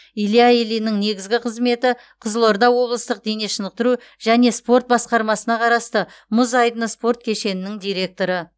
илья ильиннің негізгі қызметі қызылорда облыстық дене шынықтыру және спорт басқармасына қарасты мұз айдыны спорт кешенінің директоры